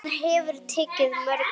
Hann hefur tekið mörg ár.